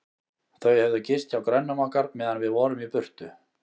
Þau höfðu gist hjá grönnum okkar, meðan við vorum í burtu.